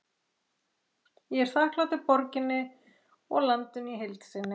Ég er þakklátur borginni og landinu í heild sinni.